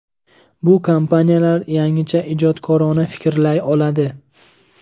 Bu kompaniyalar yangicha – ijodkorona fikrlay oladi.